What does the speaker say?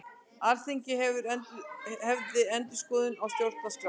Alþingi hefji endurskoðun stjórnarskrár